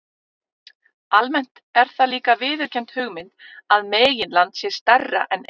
Almennt er það líka viðurkennd hugmynd að meginland sé stærra en eyja.